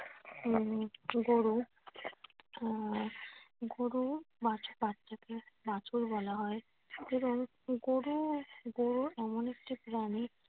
উম গরু আহ গরু বাচ্চাকে বাছুর বলা হয়। সেরম গরু গরু এমন একটি প্রাণী